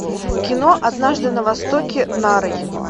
кино однажды на востоке нарой